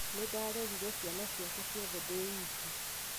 Nĩ ndarerĩre ciana ciake ciothe ndĩ wiki